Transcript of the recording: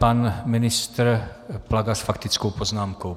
Pan ministr Plaga s faktickou poznámkou.